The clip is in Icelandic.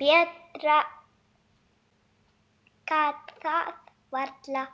Betra gat það varla